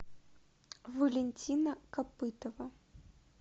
валентина копытова